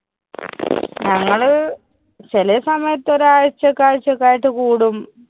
ഞങ്ങള് ചെലെ സമയത്ത് ഒരു ആഴ്ചക്ക് ആഴ്ച്ചക്കായിട്ട് കൂടും.